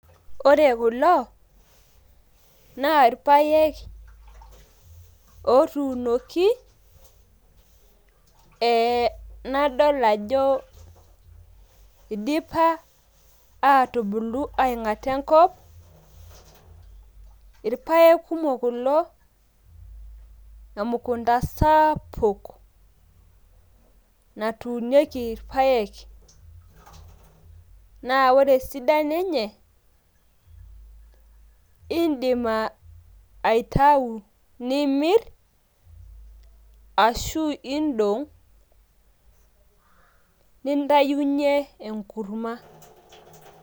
ore kulo naa irpaek ootuunoki, nadol ajo idipa aatubulu aing'ata enkop, irpaek kumok kuo emukunta sapuk natuunieki irpaek. naa ore esidano enye idim aitayu, nidong' nintayunye enkurma.